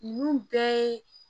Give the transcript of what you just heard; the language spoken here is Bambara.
Ninnu bɛɛ ye